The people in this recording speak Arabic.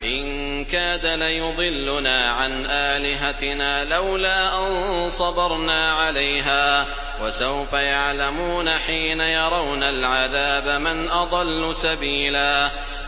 إِن كَادَ لَيُضِلُّنَا عَنْ آلِهَتِنَا لَوْلَا أَن صَبَرْنَا عَلَيْهَا ۚ وَسَوْفَ يَعْلَمُونَ حِينَ يَرَوْنَ الْعَذَابَ مَنْ أَضَلُّ سَبِيلًا